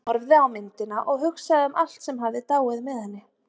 Hann horfði á myndina og hugsaði um allt sem hafði dáið með henni.